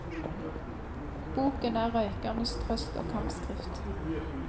Boken er røykernes trøst og kampskrift.